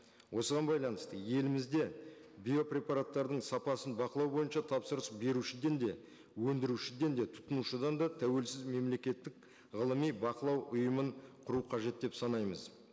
осыған байланысты елімізде биопрепараттардың сапасын бақылау бойынша тапсырыс берушіден де өндірушіден де тұтынушыдан да тәуелсіз мемлекеттік ғылыми бақылау ұйымын құру қажет деп санаймыз